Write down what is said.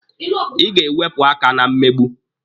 Ị ga-ewepụ aka na mmegbu!